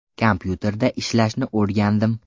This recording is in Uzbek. Kompyuterda ishlashni o‘rgandim.